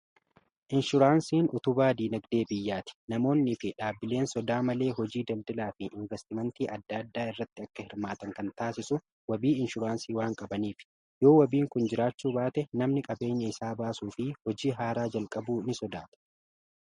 inshuraansiin utubaa dinagdee biyyaati namoonni fi dhaabbileen sodaa malee hojii daldalaa fi investimentii adda addaa irratti akka hirmaatan kan taasisu wabii inshuraansii waan qabaniif yoo wabiin kun jiraachuu baate namni qabeenya isaa baasuu fi hojii haaraa jalqabuu ni sodaata